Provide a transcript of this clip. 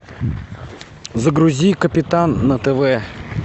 загрузи капитан на тв